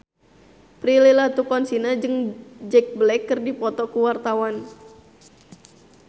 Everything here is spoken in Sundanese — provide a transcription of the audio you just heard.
Prilly Latuconsina jeung Jack Black keur dipoto ku wartawan